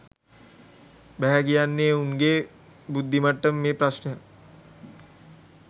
බැහැ කියන්නේ උන්ගේ බුද්දි මට්ටමේ ප්‍රශ්නයක්